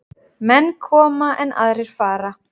Menn koma, en aðrir fara.